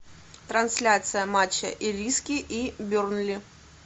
трансляция матча ириски и бернли